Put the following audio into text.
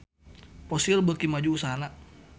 Fossil beuki maju usahana